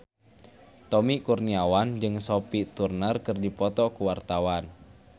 Tommy Kurniawan jeung Sophie Turner keur dipoto ku wartawan